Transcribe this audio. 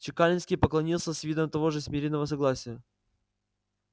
чекалинский поклонился с видом того же смиренного согласия